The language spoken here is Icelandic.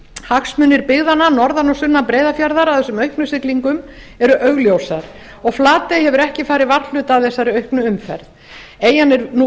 hagsmunir byggðanna norðan og sunnan breiðafjarðar að þessum auknu siglingum eru augljósar og flatey hefur ekki farið varhluta af þessari auknu umferð eyjan er nú